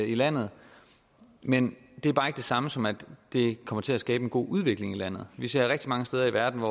i landet men det er bare ikke det samme som at det kommer til at skabe en god udvikling i landet vi ser rigtig mange steder i verden